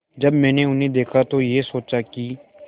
जब मैंने उन्हें देखा तो ये सोचा कि